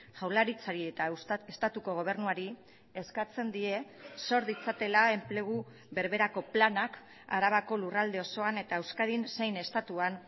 jaurlaritzari eta estatuko gobernuari eskatzen die sor ditzatela enplegu berberako planak arabako lurralde osoan eta euskadin zein estatuan